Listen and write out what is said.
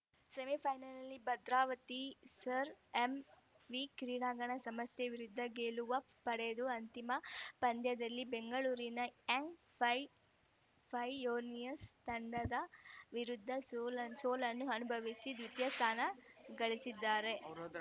ಸೆಮಿಫೈನಲ್‌ನಲ್ಲಿ ಭದ್ರಾವತಿಯ Sir MV ಕ್ರೀಡಾ ಸಂಸ್ಥೆ ವಿರುದ್ಧ ಗೆಲುವ ಪಡೆದು ಅಂತಿಮ ಪಂಧ್ಯದಲ್ಲಿ ಬೆಂಗಳೂರಿನ ಯಂಗ್‌ ಫೈಯೋನಿಯರ್ಸ್ ತಂಡದ ವಿರುದ್ಧ ಸೋಲನ್ನು ಅನುಭವಿಸಿ ದ್ವಿತೀಯ ಸ್ಥಾನ ಗಳಿಸಿದ್ದಾರೆ